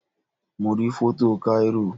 Mo rí foto Cairo